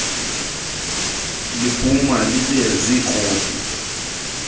liphuma libe ziikopi